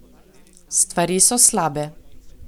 Stvari so slabe.